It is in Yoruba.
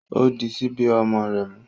O di sibi ọmọ rẹ mu